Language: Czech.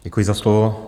Děkuji za slovo.